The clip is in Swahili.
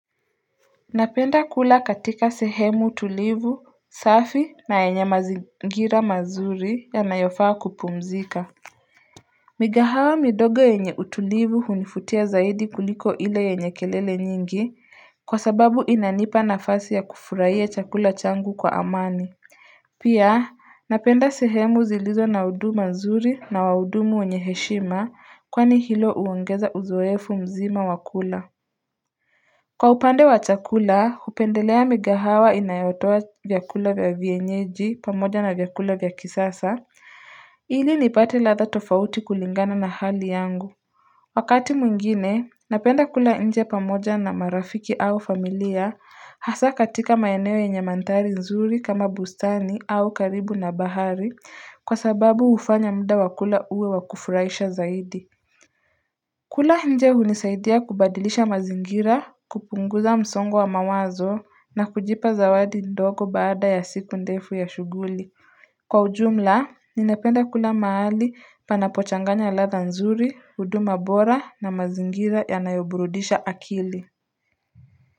Napenda kula katika sehemu tulivu, safi na yenye mazingira mazuri yanayofaa kupumzika. Mikahawa midogo yenye utulivu hunivutia zaidi kuliko ile yenye kelele nyingi kwa sababu inanipa nafasi ya kufurahia chakula changu kwa amani. Pia napenda sehemu zilizo na huduma nzuri na wahudumu wenye heshima kwani hilo huongeza uzoefu mzima wakula. Kwa upande wa chakula, hupendelea mikahawa inayotoa vyakula vya vienyeji pamoja na vyakula vya kisasa. Ili nipate ladha tofauti kulingana na hali yangu. Wakati mwingine, napenda kula inje pamoja na marafiki au familia hasa katika maeneo nyenye manthari nzuri kama bustani au karibu na bahari kwa sababu hufanya muda wa kula uwe wakufurahisha zaidi. Kula nje hunisaidia kubadilisha mazingira, kupunguza msongo wa mawazo na kujipa zawadi ndogo baada ya siku ndefu ya shughuli. Kwa ujumla, ninapenda kula mahali panapochanganya ladha nzuri, huduma bora na mazingira yanayoburudisha akili.